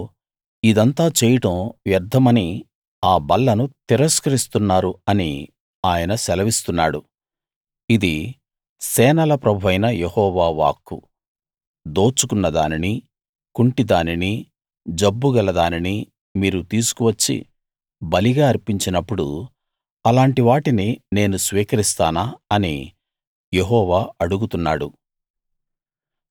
అయ్యో ఇదంతా చేయడం వ్యర్ధమని ఆ బల్లను తిరస్కరిస్తున్నారు అని ఆయన సెలవిస్తున్నాడు ఇది సేనల ప్రభువైన యెహోవా వాక్కు దోచుకున్నదానినీ కుంటిదానినీ జబ్బు గలదానినీ మీరు తీసుకువచ్చి బలిగా అర్పించినప్పుడు అలాంటి వాటిని నేను స్వీకరిస్తానా అని యెహోవా అడుగుతున్నాడు